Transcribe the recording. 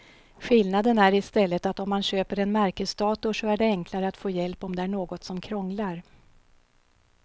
Skillnaden är i stället att om man köper en märkesdator så är det enklare att få hjälp om det är något som krånglar.